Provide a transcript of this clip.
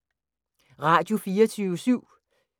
Radio24syv